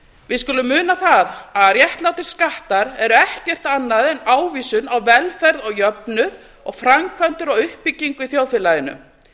við skulum muna það að réttlátir skattar eru ekkert annað en ávísun á velferð og jöfnuð og framkvæmdir og uppbyggingu í þjóðfélaginu